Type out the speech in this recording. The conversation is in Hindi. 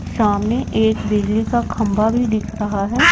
सामने एक बिजली का खंबा भी दिख रहा है।